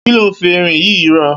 Kiló n fi irin yi rọ?